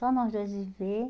Só nós dois viver.